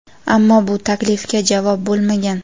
ammo bu taklifga javob bo‘lmagan.